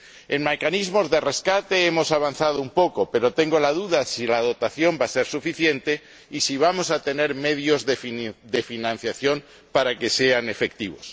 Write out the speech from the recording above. En mecanismos de rescate hemos avanzado un poco, pero tengo la duda de si la dotación va a ser suficiente y de si vamos a tener medios de financiación para que sean efectivos.